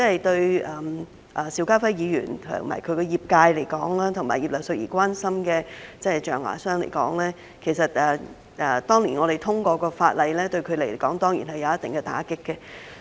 對邵家輝議員及其業界，以及葉劉淑儀議員所關心的象牙商而言，當年我們通過的法例，當然對他們造成一定打擊。